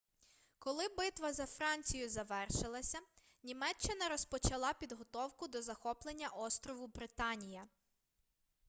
коли битва за францію завершилася німеччина розпочала підготовку до захоплення острову британія